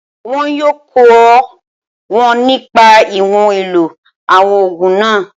Wọn yóò kọ́ wọn nípa ìwọ̀n ìlò àwọn ògùn náà